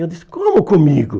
Eu disse, como comigo?